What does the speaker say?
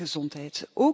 gezondheid.